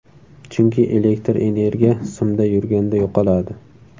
Chunki elektr energiya simda yurganda yo‘qoladi.